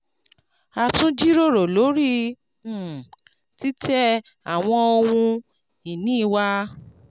"a tun jiroro lori um titẹ awọn ohun-ini wa.